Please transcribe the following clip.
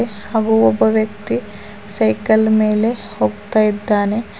ಹಾಗು ಒಬ್ಬ ವ್ಯಕ್ತಿ ಸೈಕಲ್ ಮೇಲೆ ಹೋಗ್ತಾ ಇದ್ದಾನೆ.